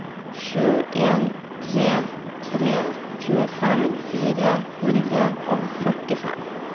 sju en tre tre tjuefem fire hundre og førtifem